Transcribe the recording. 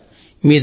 మీ దయ